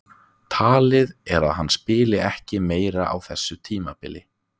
Talið er að hann spili ekki meira á þessu tímabili.